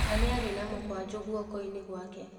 Na niarĩ na mũkwanjũ guokoinĩ gwake.